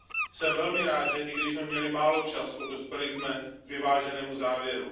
Jsem velmi rád, že i když jsme měli málo času, dospěli jsme k vyváženému závěru.